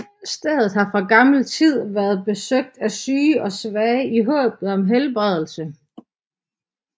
Stedet har fra gammel tid været besøgt af syge og svage i håbet om helbredelse